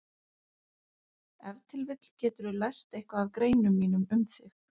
Ef til vill geturðu lært eitthvað af greinum mínum um þig.